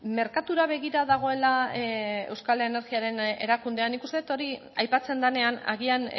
merkatura begira dagoela euskal energiaren erakundea nik uste dut hori aipatzen denean agian